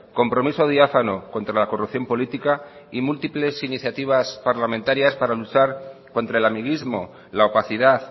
compromiso diáfano contra la corrupción política y múltiples iniciativas parlamentarias para luchar contra el amiguismo la opacidad